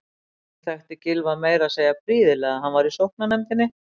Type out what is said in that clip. Hún þekkti Gylfa meira að segja prýðilega, hann var í sóknarnefndinni.